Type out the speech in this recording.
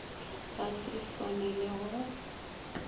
ga se e swanele go